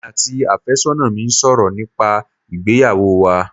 Emi àti àfẹ́sọ́nà mi ń sọ̀rọ̀ nípa ìgbéyàwó wa